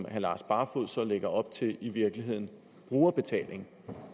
herre lars barfoed så lægger op til i virkeligheden brugerbetaling